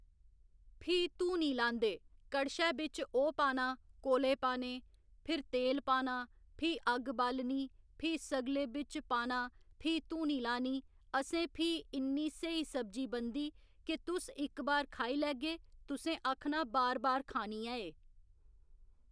फ्ही धूनी लांदे कड़शै बिच्च ओह् पाना कोले पाने, फिर तेल पाना, फ्ही अग्ग बालनी फ्ही सगले बिच्च पाना फ्ही धूनी लानी असें फ्ही इन्नी स्हेई सब्जी बनदी कि तुस इक बार खाई लैगे तुसें आखना बार बार खानी ऐ एह्